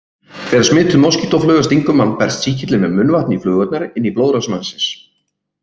Þegar smituð moskítófluga stingur mann berst sýkillinn með munnvatni flugunnar inn í blóðrás mannsins.